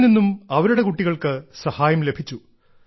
ഇതിൽ നിന്നും അവരുടെ കുട്ടികൾക്ക് സഹായം ലഭിച്ചു